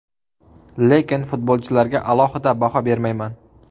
Lekin futbolchilarga alohida baho bermayman.